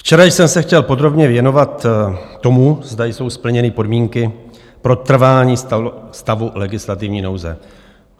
Včera jsem se chtěl podrobně věnovat tomu, zda jsou splněny podmínky pro trvání stavu legislativní nouze.